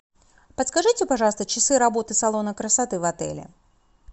подскажите пожалуйста часы работы салона красоты в отеле